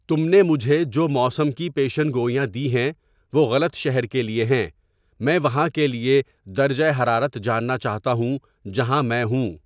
تم نے مجھے جو موسم کی پیشین گوئیاں دی ہیں وہ غلط شہر کے لیے ہیں میں وہاں کے لیے درجہ حرارت جاننا چاہتا ہوں جہاں میں ہوں